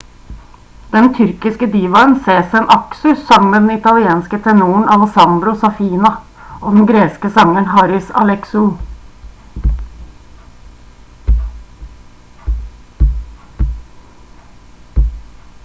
den tyrkiske divaen sezen aksu sang med den italienske tenoren alessandro saffina og den greske sangeren haris alexou